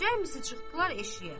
Cəmi çıxdılar eşiyə,